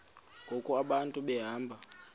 ngoku abantu behamba